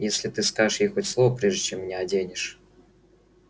если ты скажешь ей хоть слово прежде чем меня оденешь